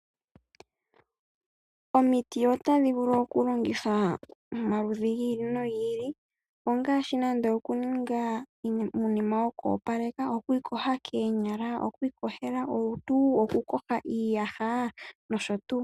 Omiti otadhi vulu okundulukithwa iinima yomaludhi gi ili no gi ili. Ngaashi uutemba woku iyoga koonyala, woku iyoga kolutu, woku iyoga koonyala nosho tuu.